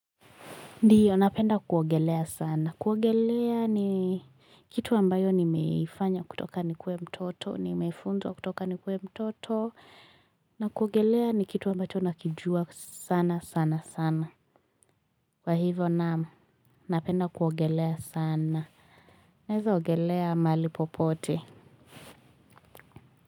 Ndiyo, napenda kuogelea sana. Kuogelea ni kitu ambayo nimeifanya kutoka nikuwe mtoto, nimeifunzwa kutoka nikuwe mtoto, na kuogelea ni kitu ambacho nakijua sana, sana, sana. Kwa hivyo, naam, napenda kuogelea sana. Naeza ogelea mahali popote.